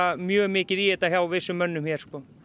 mjög mikið í þetta hjá vissum mönnum hér